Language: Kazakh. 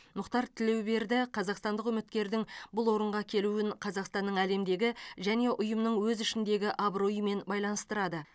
мұхтар тілеуберді қазақстандық үміткердің бұл орынға келуін қазақстанның әлемдегі және ұйымның өз ішіндегі абыройымен байланыстырады